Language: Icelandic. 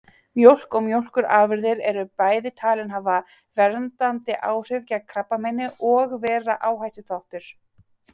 Mjólk og mjólkurafurðir eru bæði talin hafa verndandi áhrif gegn krabbameini og vera áhættuþáttur.